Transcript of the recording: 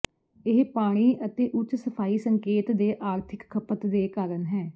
ਇਹ ਪਾਣੀ ਅਤੇ ਉੱਚ ਸਫਾਈ ਸੰਕੇਤ ਦੇ ਆਰਥਿਕ ਖਪਤ ਦੇ ਕਾਰਨ ਹੈ